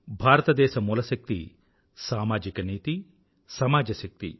భారతదేశ మూల శక్తి సామాజిక నీతి సమాజ శక్తి